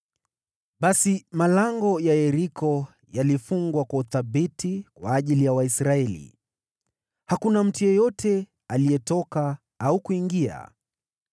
Basi malango ya Yeriko yalifungwa kwa uthabiti kwa ajili ya Waisraeli. Hakuna mtu yeyote aliyetoka au kuingia.